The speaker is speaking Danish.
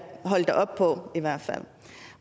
holde dig op på